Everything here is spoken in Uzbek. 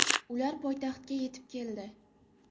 Ular poytaxtga yetib keldi.